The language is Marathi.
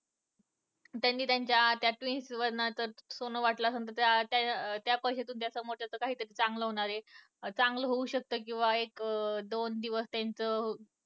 त्यांनी त्यांच्या त्या twins वजनाचं सोनं वाटलं असलं तरी अं त्या पैशातून त्याच अं कुटुंबाच चांगलं होणार चांगलं होऊ शकतं किंवा एक अं दोन दिवस त्याचं